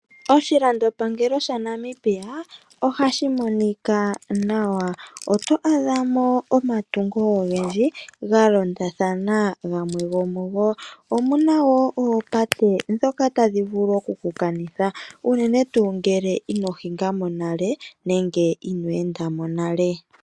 Oshilandopangelo shaNamibia ohashi monika nawa. Oto adhamo omatungo ogendji galondathana gamwe gomugo. Omuna wo oopate dhoka tadhi vulu okukukanitha uunene tu ngele inohingamo nale nenge ono endamo nale.